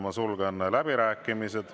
Ma sulgen läbirääkimised.